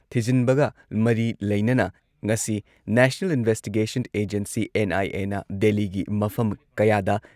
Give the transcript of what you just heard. ꯊꯤꯖꯤꯟꯕꯒ ꯃꯔꯤ ꯂꯩꯅꯅ ꯉꯁꯤ ꯅꯦꯁꯅꯦꯜ ꯏꯟꯚꯦꯁꯇꯤꯒꯦꯁꯟ ꯑꯦꯖꯦꯟꯁꯤ ꯑꯦꯟ.ꯑꯥꯏ.ꯑꯦꯅ ꯗꯦꯜꯂꯤꯒꯤ ꯃꯐꯝ ꯀꯌꯥꯗ